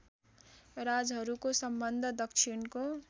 राजहरूको सम्बन्ध दक्षिणको